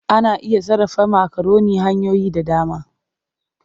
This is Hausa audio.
Ana iya sarrafa makaroni hanyoyi da dama.